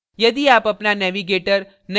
यदि आप अपना navigator नहीं देख सकते हैं तो